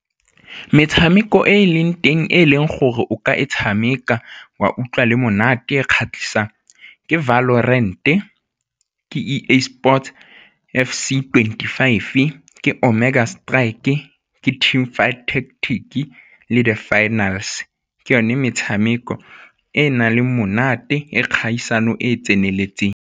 Metshameko e e leng teng e e leng gore o ka e tshameka wa utlwa le monate e kgatlhisang, ke ke E_A Sports F_C twenty-five, ke Omega Strike-e, ke team fight tactic-ke le di-finals, ke yone metshameko e e nang le monate e kgaisano e e tseneletseng.